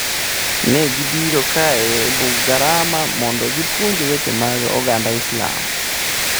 Ne gibiro kae e Bugarama mondo gipuonj weche mag oganda Islam.